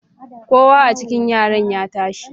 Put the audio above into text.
Kowa a cikin yaran ya tashi